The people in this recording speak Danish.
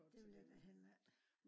det vil jeg da hellere